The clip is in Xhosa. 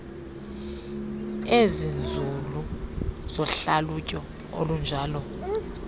ezinzulu zohlalutyo olunjalo